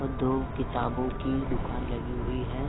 और दो किताबों की दुकान लगी हुई हैं।